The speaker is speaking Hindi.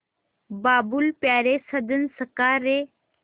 बाबुल प्यारे सजन सखा रे